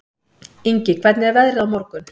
Ingi, hvernig er veðrið á morgun?